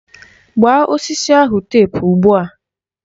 Gbaa osisi ahụ tepu ugbua!